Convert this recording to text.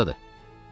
O hardadır?